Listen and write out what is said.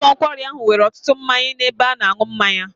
Ụlọ nkwari ahụ nwere ọtụtụ mmanya n'ebe a na-aṅụ mmanya.